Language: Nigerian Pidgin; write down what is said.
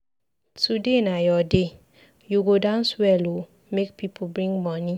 Today na your day, you go dance well ooo make people bring money.